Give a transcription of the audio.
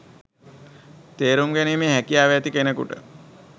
තේරුම් ගැනීමේ හැකියාව ඇති කෙනෙකුට